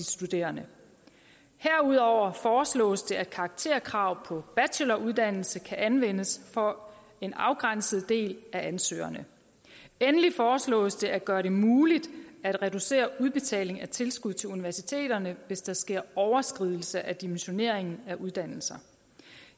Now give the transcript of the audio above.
studerende herudover foreslås det at karakterkrav på bacheloruddannelse kan anvendes for en afgrænset del af ansøgerne endelig foreslås det at gøre det muligt at reducere udbetaling af tilskud til universiteterne hvis der sker overskridelse af dimensioneringen af uddannelserne